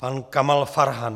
Pan Kamal Farhan.